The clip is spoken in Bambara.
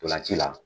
Ntolan ci la